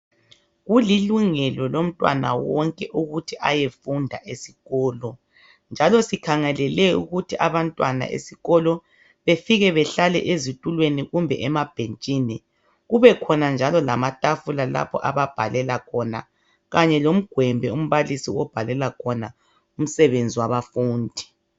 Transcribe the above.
Kulilungelo lomntwana wonke ukuthi ayefunda esikolo, njalo sikhangelele ukuthi abantwana esikolo befike behlale ezitulweni kumbe emabhentshini. Kubekhona njalo amatafula lapho ababhalela khona, kanye lomgwembe lapho umbalisi lapho abhalela khona imisebenzi wabafundi.